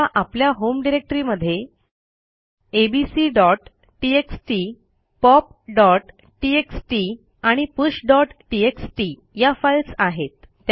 समजा आपल्या होम डिरेक्टरीमध्ये abcटीएक्सटी popटीएक्सटी आणि pushटीएक्सटी या फाईल्स आहेत